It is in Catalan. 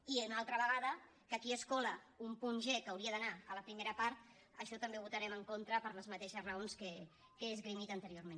i una altra vegada que aquí es cola un punt g que hauria d’anar a la primera part això també ho votarem en contra per les mateixes raons que he esgrimit anteriorment